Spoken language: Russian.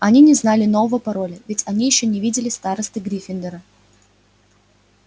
они не знали нового пароля ведь они ещё не видели старосты гриффиндора